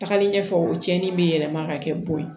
Tagalen ɲɛfɛ o cɛnin bɛ yɛlɛma ka kɛ bon ye